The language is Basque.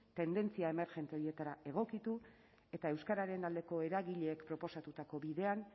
tendentzia emergente horietara egokitu eta euskararen aldeko eragileek proposatutako bidean